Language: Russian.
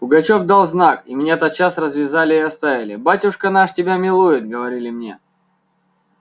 пугачёв дал знак и меня тотчас развязали и оставили батюшка наш тебя милует говорили мне